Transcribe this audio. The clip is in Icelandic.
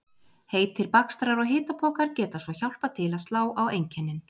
Heitir bakstrar og hitapokar geta svo hjálpað til að slá á einkennin.